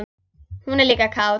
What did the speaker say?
Hún er líka kát.